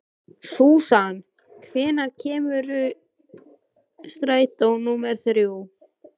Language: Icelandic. Susan, hvenær kemur strætó númer þrjú?